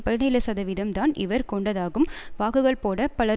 பதினேழு சதவீதம் தான் இவர் கொண்டதாகும் வாக்குகள்போட பலர்